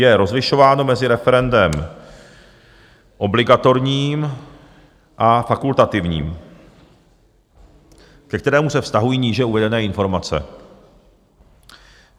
Je rozlišováno mezi referendem obligatorním a fakultativním, ke kterému se vztahují níže uvedené informace.